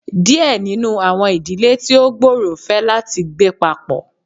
Díẹ̀ nínú àwọn ìdílé tí ó gbòòrò fẹ láti gbé papọ.